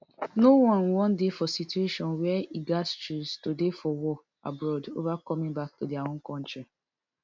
no one wan dey for situation wia e gatz choose to dey for war abroad ova coming back to dia own kontri